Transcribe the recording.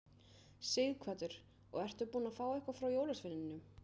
Sighvatur: Og ertu búinn að fá eitthvað frá jólasveininum?